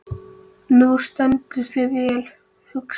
Þú stendur þig vel, Huxley!